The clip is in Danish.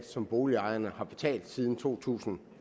som boligejerne har betalt siden to tusind